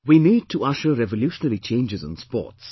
We need to usher revolutionary changes in sports